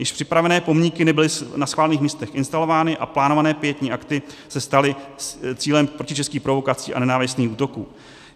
Již připravené pomníky nebyly na schválených místech instalovány a plánované pietní akty se staly cílem protičeských provokací a nenávistných útoků.